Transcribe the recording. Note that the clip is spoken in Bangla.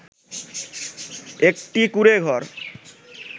একটি কুঁড়ে ঘর